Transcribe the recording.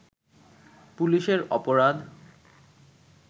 পুলিশের অপরাধ